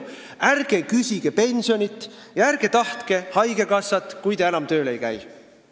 Ärge küsige pensioni ja ärge tahtke haigekassat, kui te enam tööl ei käi!